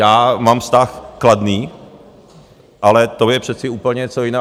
Já mám vztah kladný, ale to je přece úplně něco jiného.